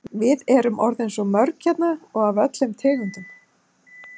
Við erum orðin svo mörg hérna og af öllum tegundum.